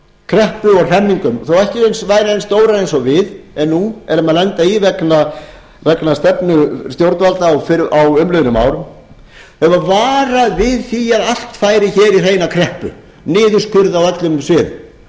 kreppu og hremmingum þó ekki væri eins stórar og við nú erum að lenda í vegna stefnu stjórnvalda á umliðnum árum hefur varað við því að allt færi í hreina kreppu niðurskurð á öllum sviðum